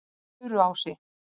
Furuási